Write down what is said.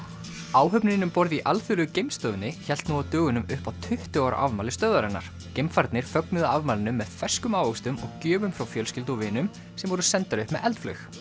áhöfnin um borð í Alþjóðlegu geimstöðinni hélt nú á dögunum upp á tuttugu ára afmæli stöðvarinnar geimfararnir fögnuðu afmælinu með ferskum ávöxtum og gjöfum frá fjölskyldu og vinum sem voru sendar upp með eldflaug